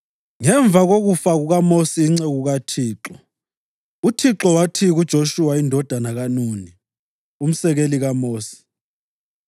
Ngemva kokufa kukaMosi inceku kaThixo, uThixo wathi kuJoshuwa indodana kaNuni, umsekeli kaMosi: